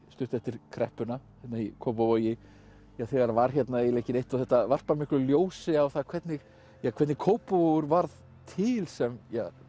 stuttu eftir kreppuna í Kópavogi þegar var hérna eiginlega ekki neitt og þetta varpar miklu ljósi á það hvernig hvernig Kópavogur varð til sem